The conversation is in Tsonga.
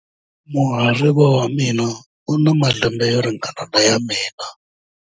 Muhariva wa mina u na malembe yo ringana na ya mina.